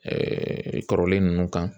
kɔrɔlen ninnu kan